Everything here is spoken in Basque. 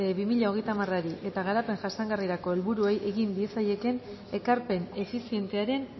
bi mila hogeita hamarari eta garapen jasangarrirako helburuei egin diezaiekeen ekarpen efizientearen